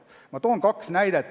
Ma toon kaks näidet.